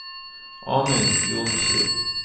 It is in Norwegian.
Amund Johnsrud